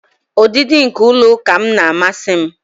Ọdịdị nke ụlọ ụka m na-amasị m